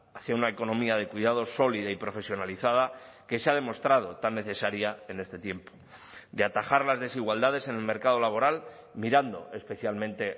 hacia una economía de cuidados sólida y profesionalizada que se ha demostrado tan necesaria en este tiempo de atajar las desigualdades en el mercado laboral mirando especialmente